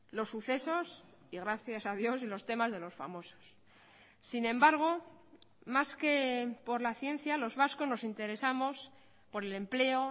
los sucesos y gracias a dios los temas de los famosos sin embargo más que por la ciencia los vascos nos interesamos por el empleo